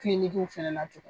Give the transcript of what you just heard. Kilinikiw fɛnɛ na tun